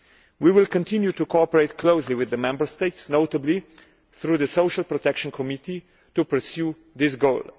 We will continue to cooperate closely with the Member States, notably through the Social Protection Committee, to pursue this goal.